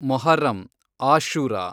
Muharram, Ashura